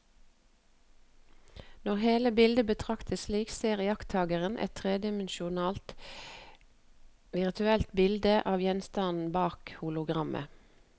Når hele bildet betraktes slik, ser iakttakeren et tredimensjonalt virtuelt bilde av gjenstanden bak hologrammet.